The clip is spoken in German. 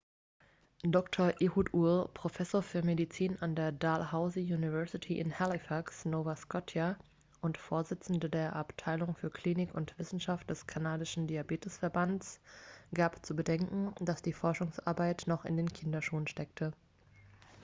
dr. ehud ur professor für medizin an der dalhousie university in halifax nova scotia und vorsitzender der abteilung für klinik und wissenschaft des kanadischen diabetesverbands gab zu bedenken dass die forschungsarbeit noch in den kinderschuhen stecke